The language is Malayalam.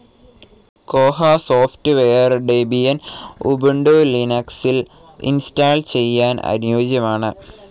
കോഹ സോഫ്റ്റ്വെയർ ഡെബിയൻ, ഉബുണ്ടു ലിനക്സിൽ ഇൻസ്റ്റാൾ ചെയ്യാൻ അനുയോജ്യമാണ്.